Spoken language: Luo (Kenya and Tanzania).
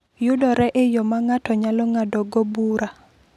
yudore e yo ma ng’ato nyalo ng’adogo bura."